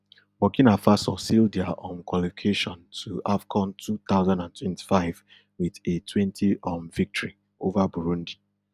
burkina faso seal dia um qualication to afcon two thousand and twenty-five wit a twenty um victory ova burundi